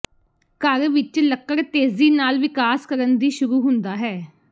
ਘਰ ਵਿਚ ਲੱਕੜ ਤੇਜ਼ੀ ਨਾਲ ਵਿਕਾਸ ਕਰਨ ਦੀ ਸ਼ੁਰੂ ਹੁੰਦਾ ਹੈ